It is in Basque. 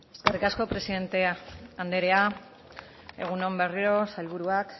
eskerrik asko presidente anderea egun on berriro sailburuak